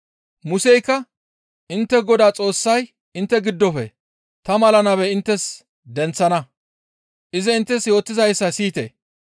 Museykka, ‹Intte Godaa Xoossay intte giddofe ta mala nabe inttes denththana. Izi inttes yootizayssa siyite.